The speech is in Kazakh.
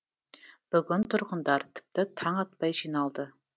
бүгін тұрғындар тіпті таң атпай жиналды